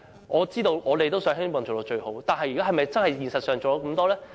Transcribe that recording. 我們也希望能夠做到最好，但現實上能否做到？